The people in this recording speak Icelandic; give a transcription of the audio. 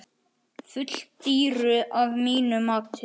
Full dýru að mínu mati.